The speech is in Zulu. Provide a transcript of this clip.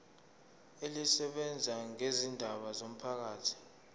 elisebenza ngezindaba zomphakathi